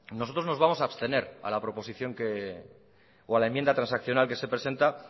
nosotros nos vamos a abstener a la proposición o a la enmienda transaccional que se presenta